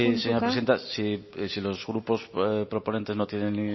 señora presidenta si los grupos proponentes no tienen